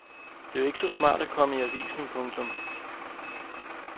Det er jo ikke så smart at komme i avisen. punktum